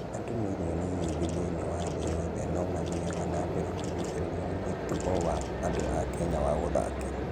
Andũ milioni nyingĩ thĩinĩ wa thĩ yothe no mathiaga na mbere kũgucĩrĩrio nĩ mũtugo wa andũ a Kenya wa gũthakĩra.